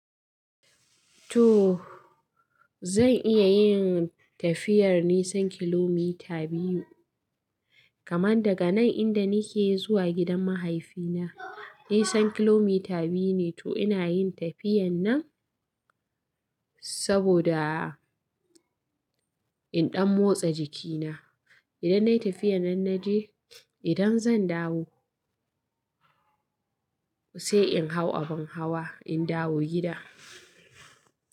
To zan iya yin tafiyar nisan kilomita biyu. Kaman daga nan inda nake zuwa gidan mahaifina, nisan kilomita biyu ne. To ina yin tafiyan nan saboda in ɗan motsa jikina. Idan nayi tafiyar nan naje, idan zan dawo sai in hau abin hawa in dawo gida.